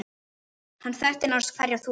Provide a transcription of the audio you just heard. Hann þekkti nánast hverja þúfu.